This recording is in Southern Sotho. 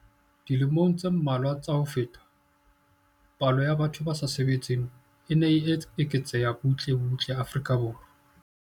Dilemong tse mmalwa tsa ho feta, palo ya batho ba sa sebetseng e ne e eketseha butle butle Afrika Borwa.